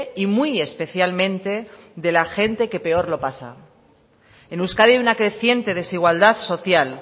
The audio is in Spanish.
y muy especialmente de la gente que peor lo pasa en euskadi una creciente desigualdad social